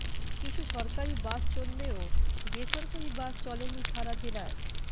কিছু সরকারি বাস চললেও বেসরকারি বাস চলেনি সারা জেলায়